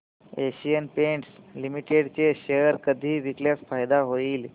Asian Paints Limited चे share कधी विकल्यास फायदा होईल